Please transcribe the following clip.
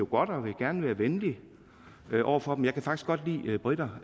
godt og vil gerne være venlig over for dem jeg kan faktisk almindeligvis godt lide briter